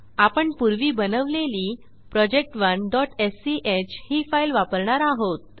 आपण पूर्वी बनवलेली project1स्क ही फाईल वापरणार आहोत